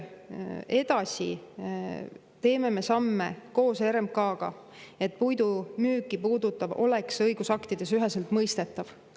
Edasi teeme samme koos RMK-ga, et puidu müüki puudutav oleks õigusaktides üheselt mõistetav.